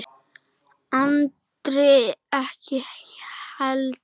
Andri ekki heldur.